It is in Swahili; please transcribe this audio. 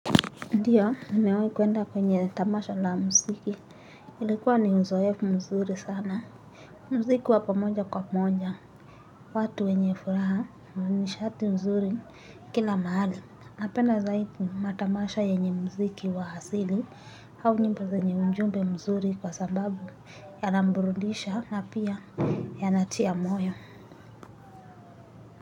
Ndio nimewai kwenda kwenye tamasha la muziki ilikuwa ni uzoefu mzuri sana. Mziki wa pamoja kwa moja, watu wenye furaha, nishati nzuri kila mahali. Napenda zaidi, matamasha yenye mziki wa hasili, hau nyimbo zenye ujumbe mzuri kwa sababu yanamburudisha na pia yanatia moyo.